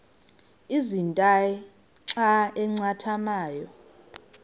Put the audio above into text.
ezintia xa zincathamayo